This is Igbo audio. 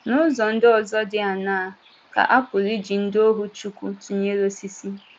N’ụzọ ndị ọzọ dị áṅaa ka a pụrụ iji ndị ọhù Chukwu tụnyere osisi?